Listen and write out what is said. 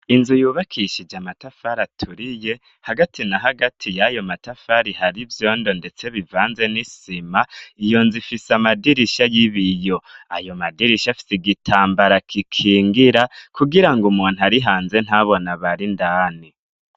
Inzu yubakishije amatafari aturiye hagati na hagati y'ayo matafari hari ivyondo, ndetse bivanze n'isima iyo nzifise amadirisha y'ib iyo ayo madirisha fsi igitambara kikingira kugira ngo umuntu ari hanze ntabona barindani.